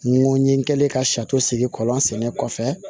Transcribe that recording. N ko n ye n kɛlen ka sigi kɔlɔn sɛnɛ kɔfɛ